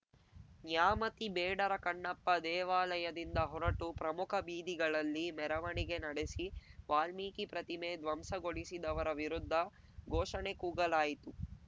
ನ್ಯಾಮತಿ ಬೇಡರ ಕಣ್ಣಪ್ಪ ದೇವಾಲಯದಿಂದ ಹೊರಟು ಪ್ರಮುಖ ಬೀದಿಗಳಲ್ಲಿ ಮೆರವಣಿಗೆ ನಡೆಸಿ ವಾಲ್ಮೀಕಿ ಪ್ರತಿಮೆ ಧ್ವಂಸಗೊಳಿಸಿದವರ ವಿರುದ್ಧ ಘೋಷಣೆ ಕೂಗಲಾಯಿತು